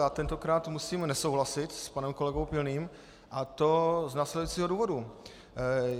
Já tentokrát musím nesouhlasit s panem kolegou Pilným, a to z následujícího důvodu.